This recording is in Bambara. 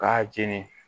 K'a jeni